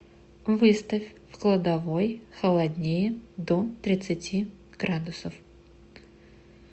выставь в кладовой холоднее до тридцати градусов